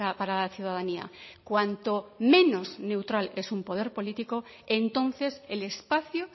para la ciudadanía cuanto menos neutral es un poder político entonces el espacio